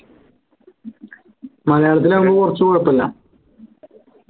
മലയാളത്തിൽ ആവുമ്പോൾ കുറച്ചു കുഴപ്പല്ല